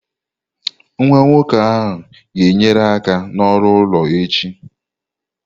Nwa nwoke ahụ ga-enyere aka n'ọrụ ụlọ echi.